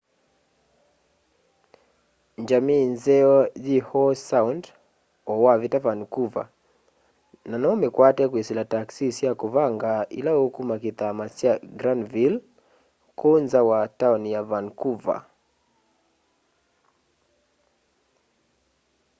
njamii nzeo yi howe sound o wavita vancouver na no umikwate kwisila taxi sya kuvanga ila ukuma kithama kya granville kuu nza wa taoni ya vancouver